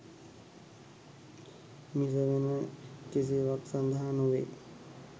මිස වෙන කිසිවක් සඳහා නොවේ.